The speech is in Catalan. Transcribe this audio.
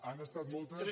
han estat moltes